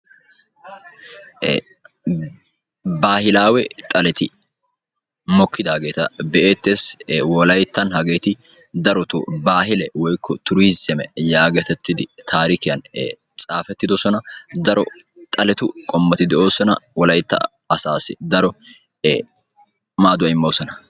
woga xale mokidage beettessi daro woga xaleti wolayttani de"ossona hegattika dumma dumma mettota pagalanawu maadossona.